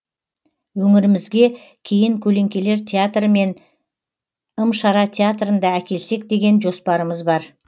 өңірімізге кейін көлеңкелер театры мен ым шара театрын да әкелсек деген жоспарымыз бар